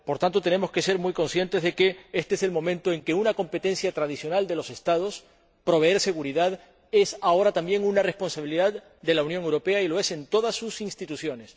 Por tanto, tenemos que ser muy conscientes de que este es el momento en que una competencia tradicional de los Estados —proveer seguridad— es también una responsabilidad de la Unión Europea, y lo es de todas sus instituciones.